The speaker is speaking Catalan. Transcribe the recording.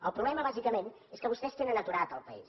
el problema bàsicament és que vostès tenen aturat el país